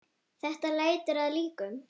Þetta lætur að líkum.